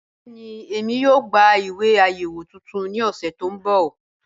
Bẹẹni, ẹ̀mí yóò gbà ìwé ayéwo tuntun ni ọ̀ṣẹ to nbọ́.